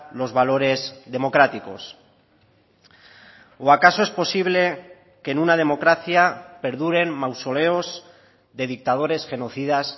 los valores democráticos o acaso es posible que en una democracia perduren mausoleos de dictadores genocidas